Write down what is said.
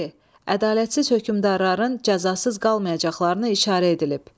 D. Ədalətsiz hökmdarların cəzasız qalmayacaqlarına işarə edilib.